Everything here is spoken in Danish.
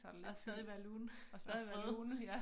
Og stadig være lune og sprøde